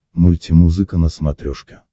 мультимузыка на смотрешке